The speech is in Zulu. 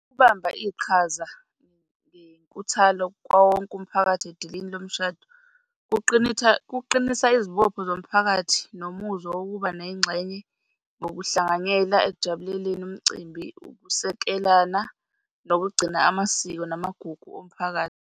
Ukubamba iqhaza ngenkuthalo kwawowonke umphakathi edilini lomshado, kuqinisa izibopho zomphakathi, nomuzwa wokuba nengxenye ngokuhlanganyela ekujabuleleni umcimbi, ukusekelana nokugcina amasiko namagugu omphakathi.